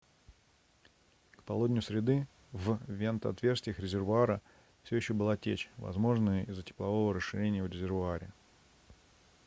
к полудню среды в вентотверстиях резервуара все еще была течь возможно из-за теплового расширения в резервуаре